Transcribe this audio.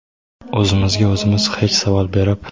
O‘zimizga o‘zimiz hech savol berib.